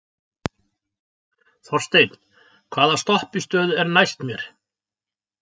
Þorsteinn, hvaða stoppistöð er næst mér?